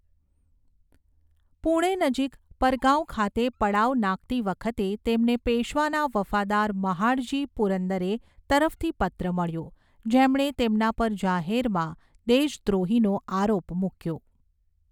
પૂણે નજીક પરગાંવ ખાતે પડાવ નાખતી વખતે, તેમને પેશ્વાના વફાદાર મહાડજી પુરંદરે તરફથી પત્ર મળ્યો જેમણે તેમના પર જાહેરમાં દેશદ્રોહીનો આરોપ મૂક્યો.